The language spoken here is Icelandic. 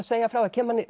segja frá